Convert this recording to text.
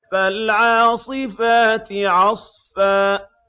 فَالْعَاصِفَاتِ عَصْفًا